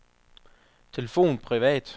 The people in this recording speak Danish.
telefon privat